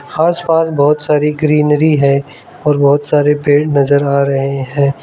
आस पास बहुत सारी ग्रीनरी है और बहोत सारे पेड़ नजर आ रहे हैं।